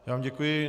Já vám děkuji.